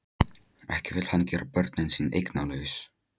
Ekki vill hann gera börnin sín eignalaus.